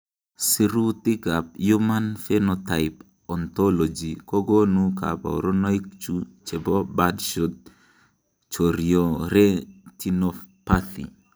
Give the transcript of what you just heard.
Sirutikab Human Phenotype Ontology kokonu koborunoikchu chebo Birdshot chorioretinopathy.